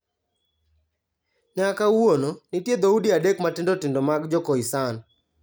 Nyaka kawuono, nitie dhoudi adek matindo tindo mag Jo-Khoisan.